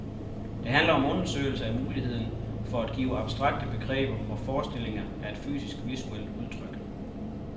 Det handler om undersøgelser af muligheden for at give abstrakte begreber og forestillinger et fysisk, visuelt udtryk.